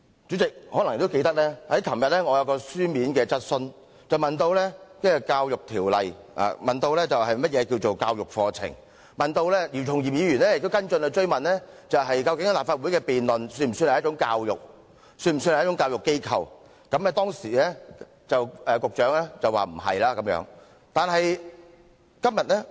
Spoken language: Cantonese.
主席可能也記得，我昨天提出了一項口頭質詢，詢問《教育條例》中有關"教育課程"的定義，而姚松炎議員也提出了跟進質詢，問及立法會的辯論算不算一種教育，立法會算不算教育機構，當時局長的答覆是否定的。